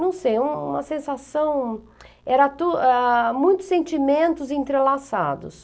Não sei, uma sensação... Era tu, ah... muitos sentimentos entrelaçados.